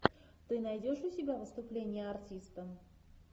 ты найдешь у себя выступление артиста